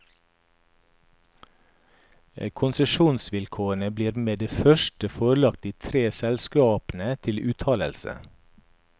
Konsesjonsvilkårene blir med det første forelagt de tre selskapene til uttalelse.